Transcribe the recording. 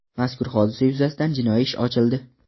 Mazkur hodisa yuzasidan jinoiy ish ochildi.